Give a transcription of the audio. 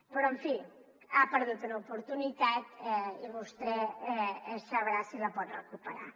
però en fi ha perdut una oportunitat i vostè sabrà si la pot recuperar